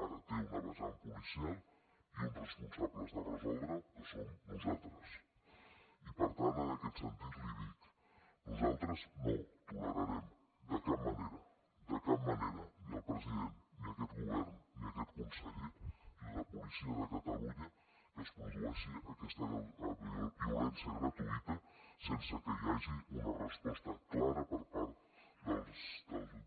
ara té una vessant policial i uns responsables de resoldre ho que som nosaltres i per tant en aquest sentit li dic nosaltres no tolerarem de cap manera de cap manera ni el president ni aquest govern ni aquest conseller ni la policia de catalunya que es produeixi aquesta violència gratuïta sense que hi hagi una resposta clara per part de la